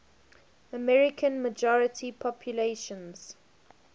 american majority populations